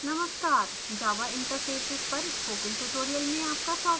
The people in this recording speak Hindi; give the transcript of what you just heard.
नमस्कार java interfaces पर spoken tutorial में आपका स्वागत है